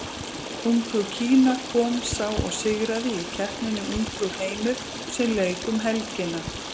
Ungfrú Kína kom, sá og sigraði í keppninni Ungfrú heimur sem lauk um helgina.